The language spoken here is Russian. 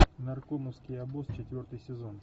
наркомовский обоз четвертый сезон